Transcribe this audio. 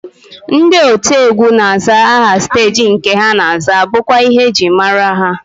Ndị otiegwu na-azara aha steeji nke ha na-aza bụkwa ihe e ji amara ha